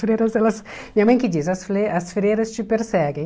freiras elas minha mãe que diz, as fle as freiras te perseguem.